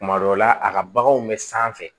Kuma dɔw la a ka baganw bɛ sanfɛ